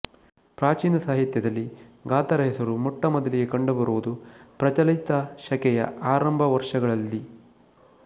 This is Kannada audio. ಪ್ರಾಚೀನ ಸಾಹಿತ್ಯದಲ್ಲಿ ಗಾತರ ಹೆಸರು ಮೊಟ್ಟಮೊದಲಿಗೆ ಕಂಡುಬರುವುದು ಪ್ರಚಲಿತಶಕೆಯ ಆರಂಭ ವರ್ಷಗಳಲ್ಲಿ